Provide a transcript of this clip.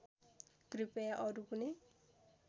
कृपया अरू कुनै